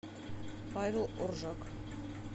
павел оржак